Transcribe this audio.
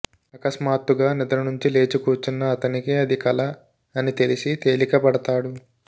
అకస్మాత్తుగా నిద్రనుంచి లేచి కూర్చున్న అతనికి అది కల అని తెలిసి తేలికపడతాడు